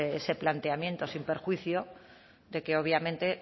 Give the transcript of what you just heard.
ese planteamiento sin perjuicio de que obviamente